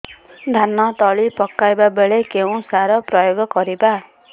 ଧାନ ତଳି ପକାଇବା ବେଳେ କେଉଁ ସାର ପ୍ରୟୋଗ କରିବା